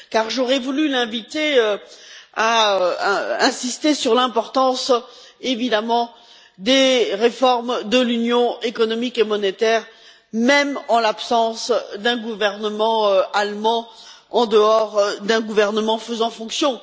J'aurais voulu l'inviter à insister sur l'importance, évidemment, des réformes de l'Union économique et monétaire, même en l'absence d'un gouvernement allemand en dehors d'un gouvernement faisant fonction.